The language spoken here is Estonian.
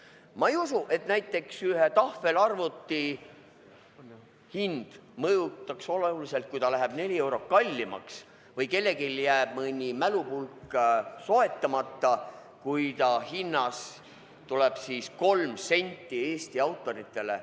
Ma ei usu, et näiteks ühe tahvelarvuti hinda mõjutaks oluliselt, kui see läheb neli eurot kallimaks, või kellelgi jääb mõni mälupulk soetamata, kui ta hinnast läheb kolm senti Eesti autoritele.